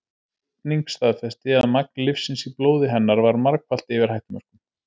Krufning staðfesti að magn lyfsins í blóði hennar var margfalt yfir hættumörkum.